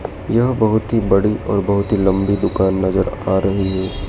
यह बहुत ही बड़ी और बहोत ही लंबी दुकान नजर आ रही है।